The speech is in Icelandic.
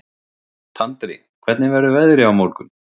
Tandri, hvernig verður veðrið á morgun?